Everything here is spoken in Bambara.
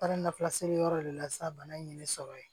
Baara lafila seli yɔrɔ de la sisan bana in ye ne sɔrɔ yen